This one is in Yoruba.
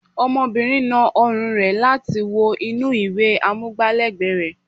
Ọmọbìnrin na ọrùn rẹ̀ láti wo inú ìwé amúgbá lẹ́ẹ̀gbẹ́ rẹ̀